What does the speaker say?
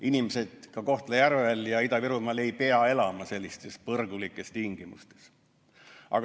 Inimesed Kohtla-Järvel ja mujal Ida-Virumaal ei pea elama sellistes põrgulikes tingimustes.